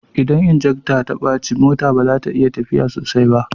Idan injekta ya bace mota baza tayi tafiya sosai ba